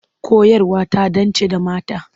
Koyarwa ta dance da mata.